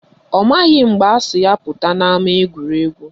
Ọ maghị mgbe asị ya pụta n'ama egwuregwu